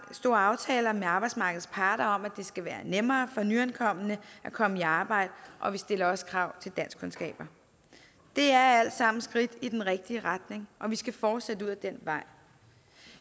store aftaler med arbejdsmarkedets parter om at det skal være nemmere for nyankomne at komme i arbejde og vi stiller også krav til danskkundskaber det er alt sammen skridt i den rigtige retning og vi skal fortsætte ud ad den vej